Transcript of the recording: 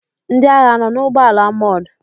Ndị agha anọ n'ụgbọala amọọ̀d?